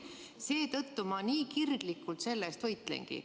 Seetõttu ma nii kirglikult selle eest võitlengi.